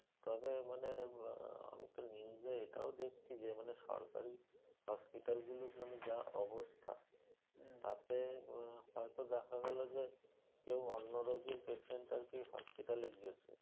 তবে মানে আহ news এ এটাও দেখছি যে, মানে সরকারি hospital গুলো মানে যা অবস্থা? তাতে হয়তো দেখা গেলো যে, কেউ অন্য রোগের patient আরকি hospital এ গেছে